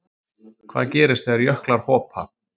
Hvað gerist þegar jöklar hopa?